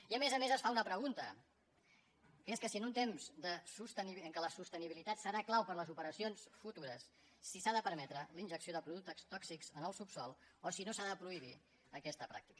i a més a més es fa una pregunta que és que si en un temps en què la sostenibilitat serà clau per a les operacions futures si s’ha de permetre la injecció de productes tòxics en el subsòl o si no s’ha de prohibir aquesta pràctica